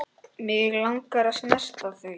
Mig langar að snerta þau.